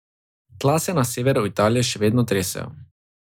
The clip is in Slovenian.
Tla se na severu Italije seveda še tresejo.